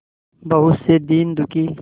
बहुत से दीन दुखी